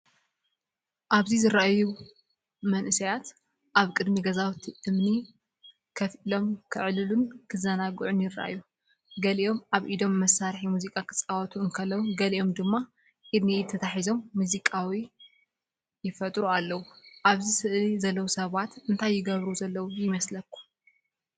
ኣብዚ ዝረኣዩ መንእሰያት ኣብ ቅድሚ ገዛውቲ እምኒ ኮፍ ኢሎም ክዕልሉን ክዘናግዑን ይረኣዩ። ገሊኦም ኣብ ኢዶም መሳርሒ ሙዚቃ ክጻወቱ እንከለዉ፡ ገሊኦም ድማ ኢድ ንኢድ ተተሓሒዞም ሙዚቃዊ ይፈጥሩ ኣለዉ። ኣብዛ ስእሊ ዘለዉ ሰባት እንታይ ይገብሩ ዘለው ይመስለኩም?